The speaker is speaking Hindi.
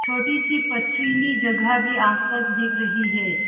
छोटी सी पथरीली जगह भी आसपास दिख रही है।